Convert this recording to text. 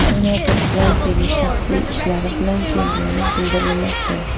Senator Fransiyaga shaxsiy ishlari bilan kelgani bildirilmoqda.